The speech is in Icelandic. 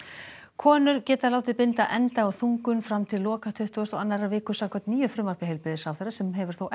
konur geta látið binda enda á þungun fram til loka tuttugustu og annarrar viku samkvæmt nýju frumvarpi heilbrigðisráðherra sem hefur þó